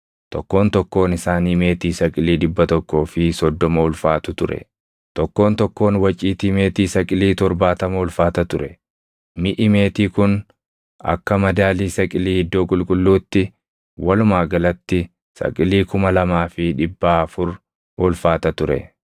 Tokkoon tokkoon isaanii meetii saqilii dhibba tokkoo fi soddoma ulfaatu ture; tokkoon tokkoon waciitii meetii saqilii torbaatama ulfaata ture. Miʼi meetii kun akka madaalii saqilii iddoo qulqulluutti walumaa galatti saqilii kuma lamaa fi dhibbaa afur ulfaata ture.